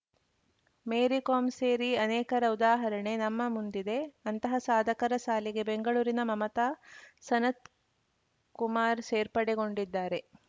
ಮೇರಿ ಕೋಮ್‌ ಸೇರಿ ಅನೇಕರ ಉದಾಹರಣೆ ನಮ್ಮ ಮುಂದಿದೆ ಅಂತಹ ಸಾಧಕರ ಸಾಲಿಗೆ ಬೆಂಗಳೂರಿನ ಮಮತಾ ಸನತ್‌ಕುಮಾರ್‌ ಸೇರ್ಪಡೆಗೊಂಡಿದ್ದಾರೆ